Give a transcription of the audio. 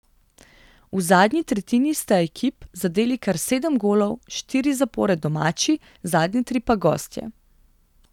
V zadnji tretjini sta ekip zadeli kar sedem golov, štiri zapored domači, zadnje tri pa gostje.